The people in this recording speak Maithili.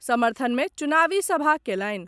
समर्थन मे चुनावी सभा कएलनि।